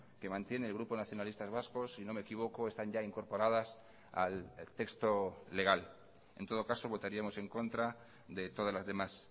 que mantiene el grupo nacionalistas vascos si no me equivoco están ya incorporadas al texto legal en todo caso votaríamos en contra de todas las demás